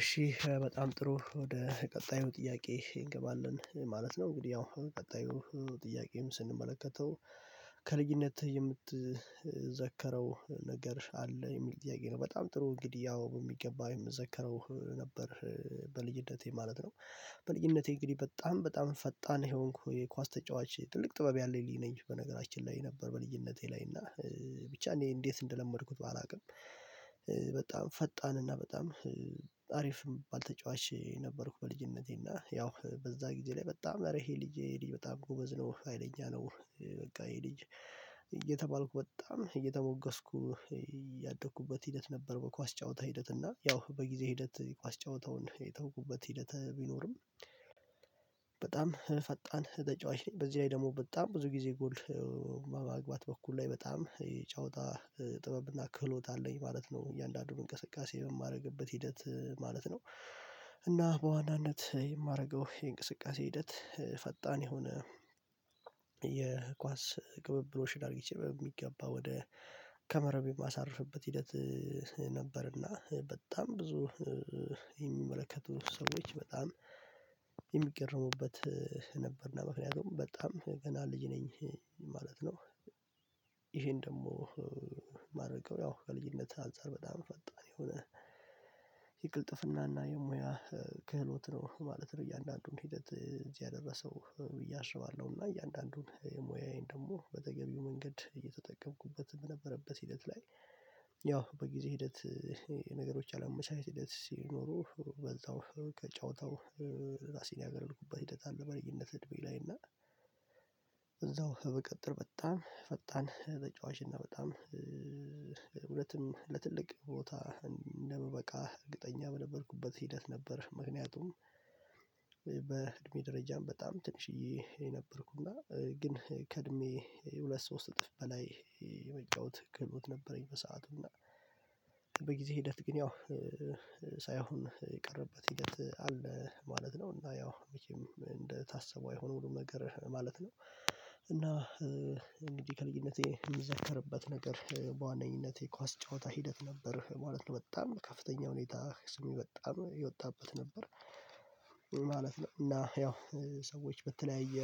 እሺ በጣም ጥሩ ወደ ቀጣዩ ጥያቄ እንገባለን ማለት ነው እንግዲህ ያው ቀጣዩ ጥያቄን ስንመለከተው? ከልጅነትህ የምትዘክረው ነገር አለ የሚል ጥያቄ ነው በጣም ጥሩ እንግዲህ ያው በሚገባ የምዘክረው ነበር በልጅነቴ ማለት ነው። በልጅነቴ እንግዲህ በጣም በጣም ፈጣን የሆንኩ የኳስ ተጫዋች ትልቅ ጥበብ ያለኝ ልጅ ነኝ በነገራችን ላይ ነበር በልጅነቴ ላይ እና ብቻ እኔ እንዴት እንደለመድኩት ባላውቅም በጣም ፈጣን እና በጣም አሪፍ የምባል ተጫዋች ነበርኩ። በልጅነቴ እና ያው በዛ ጊዜ ላይ በጣም ኧረ ይሄ ልጅ ይሄ ልጅ በጣም ጎበዝ ነው ሀይለኛ ነው በቃ ይሄ ልጅ እየተባልኩ በጣም እየተሞገስኩ ያደኩበት ሂደት ነበር። በኳስ ጨዋታ ሂደት እና ያው በጊዜ ሂደት ኳስ ጨዋታውን የተውኩበት ሂደት ቢኖርም በጣም ፈጣን ተጫዋች ነኝ። በዚህ ላይ ደግሞ በጣም ብዙ ጊዜ ጎል በማግባት በኩል ላይ በጣም የጨዋታ ጥበብ እና ክህሎት አለኝ ማለት ነው እያንዳንዱን እንቅስቃሴ በማደርግበት ሂደት ማለት ነው። እና በዋናነት የማደርገው የእንቅስቃሴ ሂደት ፈጣን የሆነ የኳስ ቅብብሎሽን አድርጊቼ በሚገባ ወደ ከመረብም የማሳርፍበት ሂደት ነበርና በጣም ብዙ የሚመለከቱ ሰዎች በጣም የሚገረሙበት ነበርና ምክንያቱም በጣም ገና ልጅ ነኝ ማለት ነው። ይህን ደግሞ የማደርገው ያው ከልጅነት አንፃር በጣም ፈጣን የሆነ የቅልጥፍናና የሙያ ክህሎት ነው ማለት ነው። እያንዳንዱን ሂደት ነው እዚህ ያደረሰው ብዬ አስባለሁና እያንዳንዱን ሙያዬን ደግሞ በተገቢው መንገድ እየተጠቀምኩበት በነበረበት ሂደት ላይ ያው በጊዜ ሂደት የነገሮች አለመመቻቸት ሂደት ሲኖሩ በዛው ከጨዋታው ራሴን ያገለልኩበት ሂደት አለ። በልጅነት እድሜዬ ላይ እና እዛው ብቀጥል በጣም ፈጣን ተጫዋች እና በጣም እውነትም ለትልቅ ቦታ እንደምበቃ እርግጠኛ የነበርኩበት ሂደት ነበር። ምክንያቱም በእድሜ ደረጃም በጣም ትንሽዬ ነበርኩና ግን ከእድሜ የሁለት ሶስት እጥፍ በላይ የመጨወት ክህሎት ነበረኝ በሰአቱና በ ጊዜ ሂደት ግን ያው ሳይሆን የቀረበት ሂደት አለ ማለት ነው። እና ያው መቼም እንደታሰበው አይሆንም ሁሉም ነገር ማለት ነው እና እንግዲህ ከልጅነቴ የሚዘከርበት ነገር በዋነኝነቴ የኳስ ጨዋታ ሂደት ነበር ማለት ነው። በጣም በከፍተኛ ሁኔታ ስሜ በጣም የወጣበት ነበር ማለት ነው። እና ያው ሰዎች በተለያየ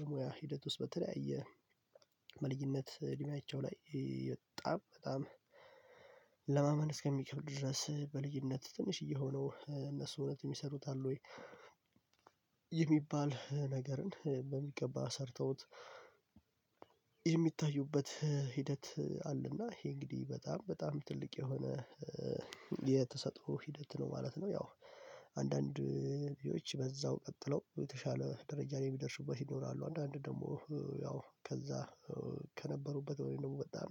የሙያ ሂደት ውስጥ በተለያየ በልጅነት እድሜያቸው ላይ በጣም በጣም ለማ እስከሚብድ ድረስ በልጅነት ትንሽዬ ሆነው እነሱ እውነት የሚሰሩት አለ ወይ የሚባል ነገርን በሚገባ ሰርተውት የሚታዩበት ሂደት አለና ይሄ እንግዲህ በጣም በጣም ትልቅ የሆነ የ የተሰጥኦ ሂደት ነው ማለት ነው። ያው አንዳንዶ ልጆች በዛው ቀጥለው የተሻለ ደረጃ ላይ የሚደርሱበት ይኖራሉ። አንዳንድ ደግሞ ያው ከዛ ከነበሩበት ወይ ደግሞ በጣም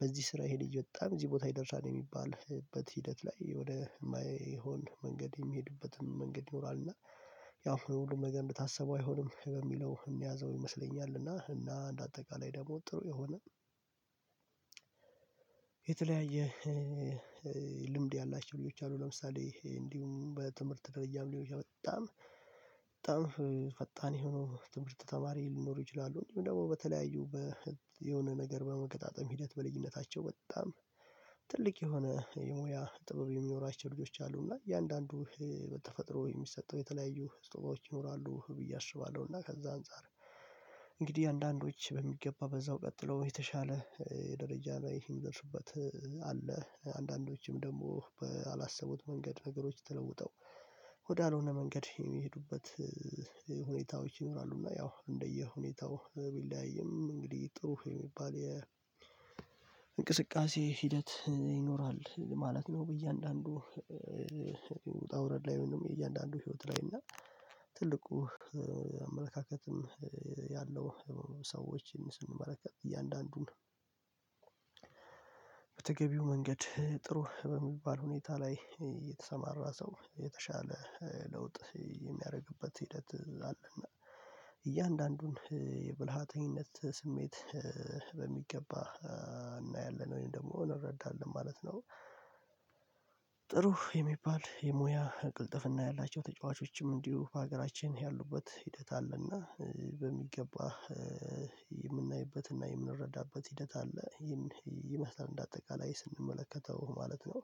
በዚህ ስራ ይሄ ልጅ በጣም እዚህ ቦታ ይደርሳል የሚባልበት ሂደት ላይ ወደ የማይሆን መንገድ የሚሄድበትም መንገድ ይኖራል። እና ያው ሁሉም ነገር እንደታስበው አይሆንም በሚለው እንያዘው ይመስለኛል እና እና እንደ አጠቃላይ ደግሞ ጥሩ የሆነ የተለያየ ልምድ ያላቸው ልጆች አሉ። ለምሳሌ እንዲሁም በትምህርት ደረጃም ሊሆን ይችላል በጣም በጣም ፈጣን የሆኑ ትምህርት ተማሪዎች ሊኖሩ ይችላሉ። እንዲሁም ደግሞ በተለያዩ በ የሆነ ነገር በመገጣጠም ሂደት በልጅነታቸው በጣም ትልቅ የሆነ የሙያ ጥበብ የሚኖራቸው ልጆች አሉና እያንዳንዱ በተፈጥሮ የሚሰጠው የተለያዩ ስጦታዎች ይኖራሉ ብዬ አስባለሁ። እና ከዛ አንፃር እንግዲህ አንዳንዶች በሚገባ በዛው ቀጥለው የተሻለ ደረጃ ላይ የሚደርሱበት አለ አንዳንዶችም ደግሞ ባላሰቡት መንገድ ነገሮች ተለውጠው ወዳልሆነ መንገድ የሚሄዱበት ሁኔታዎች ይኖራሉና ያው እንደየሁኔታው ቢለያይም እንግዲህ ጥሩ የሚባል የ እንቅስቃሴ ሂደት ይኖራል። ማለት ነው። በእያንዳንዱ ውጣ ውረድ ላይ ወይም የእያንዳንዱ ህይወት ላይ እና ትልቁ አመለካከትም ያላቸውን ሰዎችን ስንመለከት እያንዳንዱን በተገቢው መንገድ ጥሩ በሚባል ሁኔታ ላይ የተሰማራ ሰው የተሻለ ለውጥ የሚያደርግበት ሂደት አለ። እና እያንዳንዱን የብልሃተኝነት ስሜት በሚገባ እናያለን ወይም ደግሞ እንረዳለን ማለት ነው። ጥሩ የሚባል የሙያ ቅልጥፍና ያላቸው ተጫዋቾችም እንዲሁ በሀገራችን ያሉበት ሂደት አለና በሚገባ የምናይበትና የምንረዳበት ሂደት አለ። ይህን ይመስላል እንደ አጠቃላይ ስንመለከተው ማለት ነው።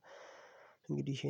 እንግዲህ